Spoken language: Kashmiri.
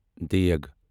دیٖگ